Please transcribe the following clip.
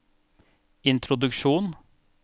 introduksjon